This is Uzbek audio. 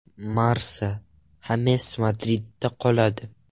Marca: Xames Madridda qoladi.